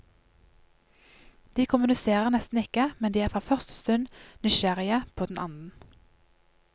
De kommuniserer nesten ikke, men de er fra første stund nysgjerrige på den annen.